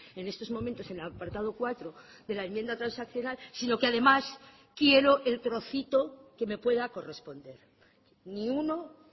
en estos momentos en el apartado cuatro de la enmienda transaccional sino que además quiero el trocito que me pueda corresponder ni uno